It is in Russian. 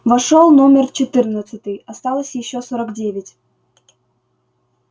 вошёл номер четырнадцатый осталось ещё сорок девять